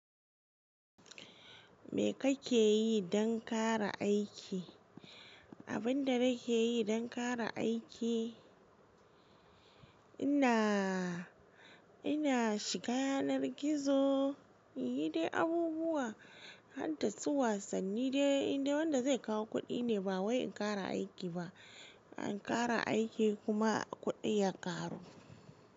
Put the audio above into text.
Me kake yi don kare aiki? Abin da nake yi don ƙara aiki, ina, ina shiga yanar gizo, inyi dai abubuwa, har da su wasanni dai indai wanda zai kawo kuɗi ne, ba wai in ƙara aiki ba. An ƙara aiki kuma kuɗin ya ƙaru.